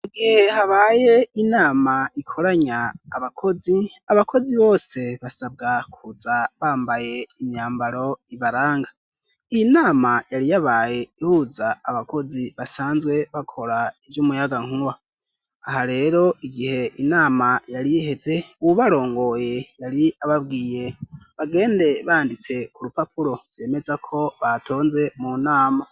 mu gihe habaye inama ikoranya abakozi abakozi bose basabwa kuza bambaye imyambaro ibaranga iyi nama yari yabaye ihuza abakozi basanzwe bakora iry'umuyaga nkuba aha rero igihe inama yariheze ububarongoye yari ababwiye bagende banditse ku rupapuro bemeza ko batonze mu nama